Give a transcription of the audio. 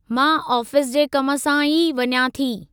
मां आफ़ीस जे कम सां ई वञां थी।